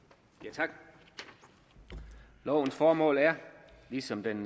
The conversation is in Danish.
tak lovens formål er ligesom den